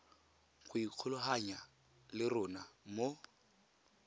go ikgolaganya le rona mo